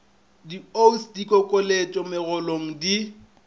di osd dikokeletšo megolong di